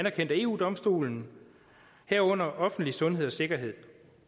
af eu domstolen herunder offentlig sundhed og sikkerhed